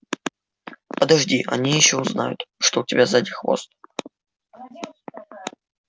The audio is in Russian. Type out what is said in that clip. подожди они ещё узнают что у тебя сзади хвост